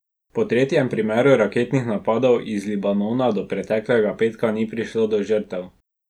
Po tretjem primeru raketnih napadov iz Libanona od preteklega petka ni prišlo do žrtev.